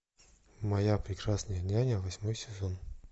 моя прекрасная няня восьмой сезон